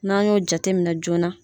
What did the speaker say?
N'an y'o jateminɛ joona